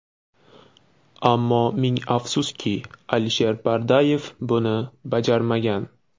Ammo ming afsuski, Alisher Pardayev buni bajarmagan.